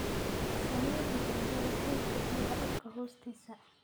Samee tijaabada heerka biyaha dhulka hoostiisa.